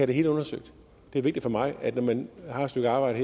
det hele undersøgt det er vigtigt for mig at når man har et stykke arbejde